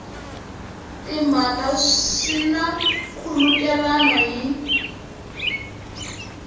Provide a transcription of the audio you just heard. timhaka swi na nkhulukelano hi